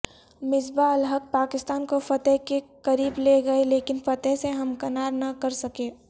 مصباح الحق پاکستان کو فتح کے قریب لے گئے لیکن فتح سےہمکنار نہ کر سکے